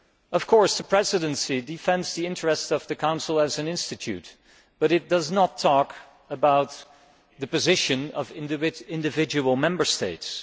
Of course the Presidency defends the interests of the Council as an institution, but it does not talk about the position of individual Member States.